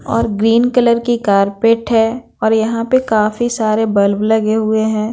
और green colour की carpet है और यहाँ पे काफी सारे बल्ब लगे हुए हैं।